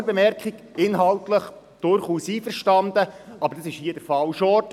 Eine Klammerbemerkung: Wir sind inhaltlich durchaus einverstanden, aber hier ist es der falsche Ort;